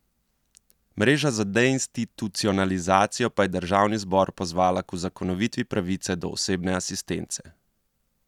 Mreža za deinstitucionalizacijo pa je državni zbor pozvala k uzakonitvi pravice do osebne asistence.